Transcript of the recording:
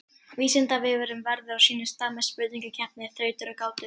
Vísindavefurinn verður á sínum stað með spurningakeppni, þrautir og gátur.